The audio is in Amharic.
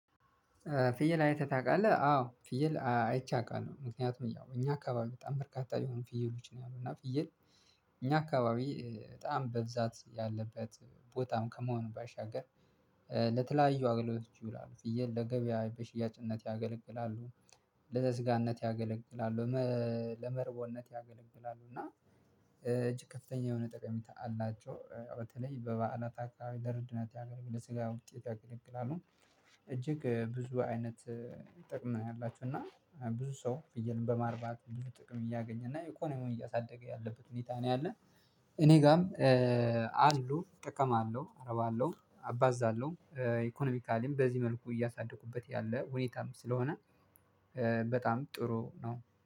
ፍየል አይተህ ታቃለህ አው ፍየል አይቼ አቃለው ምክንያቱም ያው እኛ አከባቢ በጣም በርካታ የሆኑ ፍየሎች ነው ያሉት እና ፍየል። እኛ አካባቢ በጣም በብዛት ያለበት ቦታም ከመሆኑ ባሻገር ለተለያዩ አገልግሎቶች ይውላሉ። ፍየል ለገበያ በሽያጭነት ያገለግላሉ። ለስጋነት ያገለግላሉ ለመ ለመርቦነት ያገለግላሉ። እና እጅግ ከፍተኛ የሆነ ጠቀሜታ አላቸው በተለይ በበዓላት አከባቢ ለእርድነት ያገለግለ ለስጋ ውጤት ያገለግላሉ። እጅግ ብዙ አይነት ጥቅም ነው ያላቸውና እና ብዙ ሰው ፍየልን በማርባት ብዙ ጥቅም እያገኘና ኢኮኖሚዉን ነው እያሳደገ ያለበት ሁኔታ ነው። ያለ። እኔ ጋም አሉ እጠቀማለሁ አረባለሁ አባዛለሁ ኢኮኖሚካሊም በዚህ መልኩ እያሳደኩበት ያለ ሁኔታም ስለሆነ። በጣም ጥሩ ነው